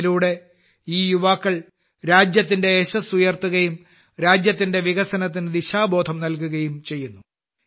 ഇതിലൂടെ ഈ യുവാക്കൾ രാജ്യത്തിന്റെ യശ്ശസ് ഉയർത്തുകയും രാജ്യത്തിന്റെ വികസനത്തിന് ദിശാബോധം നൽകുകയും ചെയ്യുന്നു